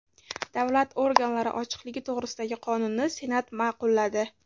Davlat organlari ochiqligi to‘g‘risidagi qonunni Senat ma’qulladi.